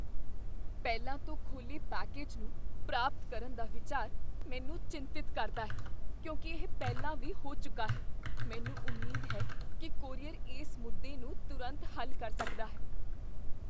ਪਹਿਲਾਂ ਤੋਂ ਖੋਲ੍ਹੇ ਪੈਕੇਜ ਨੂੰ ਪ੍ਰਾਪਤ ਕਰਨ ਦਾ ਵਿਚਾਰ ਮੈਨੂੰ ਚਿੰਤਤ ਕਰਦਾ ਹੈ ਕਿਉਂਕਿ ਇਹ ਪਹਿਲਾਂ ਵੀ ਹੋ ਚੁੱਕਾ ਹੈ, ਮੈਨੂੰ ਉਮੀਦ ਹੈ ਕੀ ਕੋਰੀਅਰ ਇਸ ਮੁੱਦੇ ਨੂੰ ਤੁਰੰਤ ਹੱਲ ਕਰ ਸਕਦਾ ਹੈ।